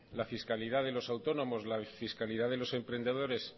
la fiscalidad de los autónomos la fiscalidad de los emprendedores